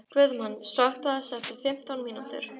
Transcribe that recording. Guðmann, slökktu á þessu eftir fimmtán mínútur.